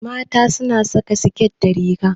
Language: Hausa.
Mata na saƙa siket da riga.